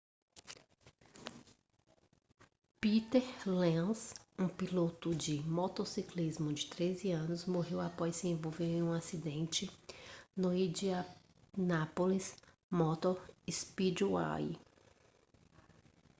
peter lenz um piloto de motociclismo de 13 anos morreu após se envolver em um acidente no indianapolis motor speedway